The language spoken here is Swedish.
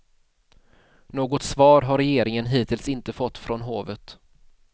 Något svar har regeringen hittills inte fått från hovet.